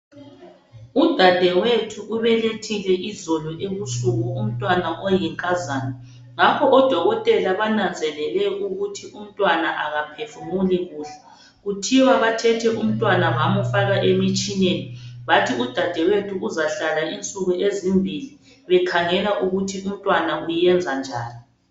Udadewethu ubelethile izolo ebusuku umntwana oyinkazana. Ngakho odokotela bananzelele ukuthi umntwana akaphefumuli kuhle. Kuthiwa bathethe umtwana bamufaka emitshineni, bathi udadewethu uzahlala insuku ezimbili, bekhangela ukuthi umntwana uyenza njani.